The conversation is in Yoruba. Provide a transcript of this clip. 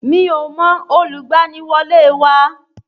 Mi ò mọ olùgbaniwọlé wa